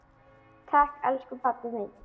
Takk elsku pabbi minn.